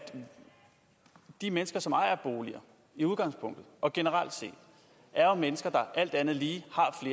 de mennesker som ejer en bolig i udgangspunktet og generelt set er mennesker der alt andet lige